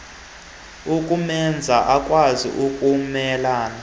ukumenza akwazi ukumelana